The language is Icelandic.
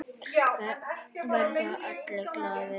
Verða allir glaðir?